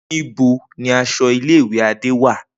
Nibo ni aṣọ ile-iwe Ade wa?